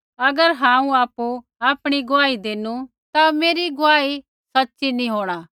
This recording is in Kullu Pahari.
अगर हांऊँ आपु आपणी गुआही देनु ता मेरी गुआही सच़ी नैंई होंणा